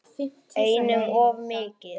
Einum of mikið.